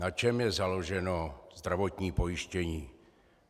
Na čem je založeno zdravotní pojištění?